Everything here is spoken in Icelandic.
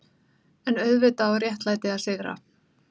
EN auðvitað á réttlætið að sigra.